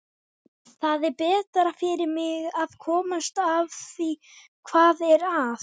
Það er betra fyrir mig að komast að því hvað er að.